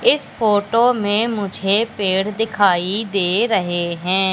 इस फोटो में मुझे पेड़ दिखाई दे रहे हैं।